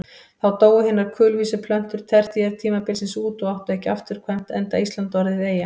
Þá dóu hinar kulvísu plöntur tertíertímabilsins út og áttu ekki afturkvæmt enda Ísland orðið eyja.